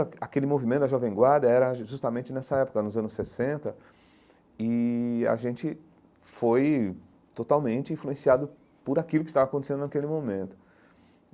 A aquele movimento da Jovem Guarda era ju justamente nessa época, nos anos sessenta, e a gente foi totalmente influenciado por aquilo que estava acontecendo naquele momento.